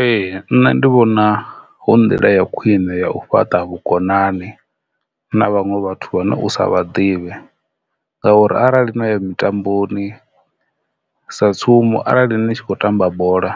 Ee, nṋe ndi vhona hu nḓila ya khwine ya u fhaṱa vhukonani na vhanwe vhathu vhane u sa vha ḓivhe ngauri arali no ya mitamboni sa tsumbo arali ni tshi khou tamba bola